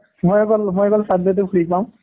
মই অকল মই অকল sunday টো free পাওঁ